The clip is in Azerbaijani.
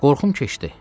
Qorxum keçdi.